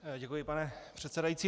Děkuji, pane předsedající.